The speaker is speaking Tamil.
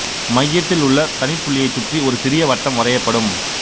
மையத்தில் உள்ள தனிப் புள்ளியைச் சுற்றி ஒரு சிறு வட்டம் வரையப்படும்